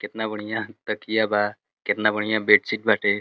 कितना बढ़िया तकिया बा। कितना बढ़िया बेडशीट बाटे।